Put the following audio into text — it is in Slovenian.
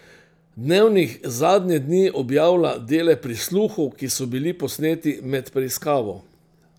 Dnevnik zadnje dni objavlja dele prisluhov, ki so bili posneti med preiskavo.